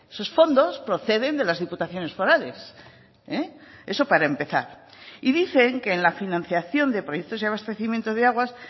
sus fondos proceden de las diputaciones forales eso para empezar y dicen que en la financiación de proyectos y abastecimiento de aguas